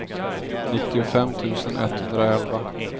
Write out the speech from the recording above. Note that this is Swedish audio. nittiofem tusen etthundraelva